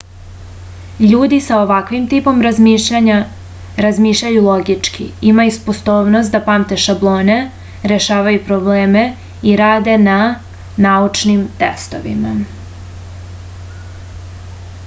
ljudi sa ovakvim tipom razmišljanja razmišljaju logički imaju sposobnost da pamte šablone rešavaju probleme i rade na naučnim testovima